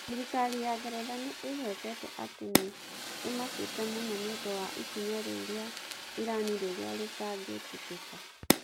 Thirikari ya Ngeretha nĩ ĩgwetete atĩ nĩ "ĩmakĩte mũno" nĩ ũndũ wa ikinya rĩu rĩa Irani rĩrĩa rĩtangĩtĩkĩka.